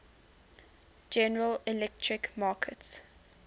general electric markets